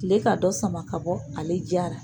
Kile ka dɔ sama ka bɔ ale jaa ra.